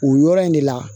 O yɔrɔ in de la